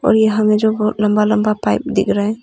और यहां में जो लंबा लंबा पाइप दिख रहा है।